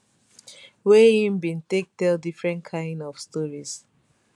wey im bin take tell different kain of stories